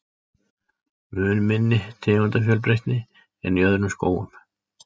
Mun minni tegundafjölbreytni en í öðrum skógum.